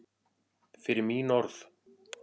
Fyrir mín orð.